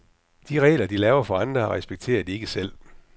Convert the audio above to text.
De regler, de laver for andre, respekterer de ikke selv.